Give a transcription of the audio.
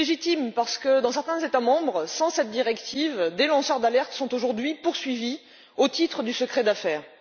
C'est légitime, parce que dans certains États membres, en l'absence de cette directive, des lanceurs d'alertes sont aujourd'hui poursuivis au titre du secret d'affaires.